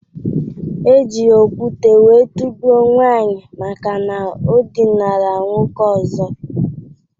Eji okwute wee tugbuo nwaanyi maka na o dinara nwoke ọzọ